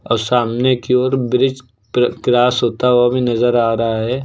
और सामने की ओर ब्रिज क्रॉस होता हुआ भी नजर आ रहा है।